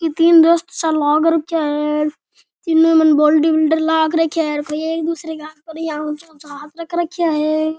तीन दोस्त सा लाग रखया है तीनो मने बॉडी बिल्डर लाग रखया है और कोई एक दूसरे का हाथ पर इया ऊँचा ऊँचा हाथ रख राख्या है।